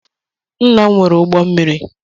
Nna m nwere ụgbọ mmiri.